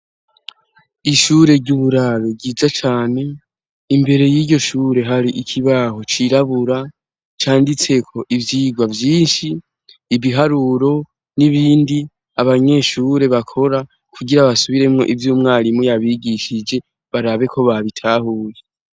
ishure ry'uburaro ryiza cane imbere y'iryo shure hari ikibaho cirabura canditseko ivyigwa vyinshi ibiharuro n'ibindi abanyeshure bakora kugira basubiremwo ivy'umwarimu yabigishije barabe ko babitahuye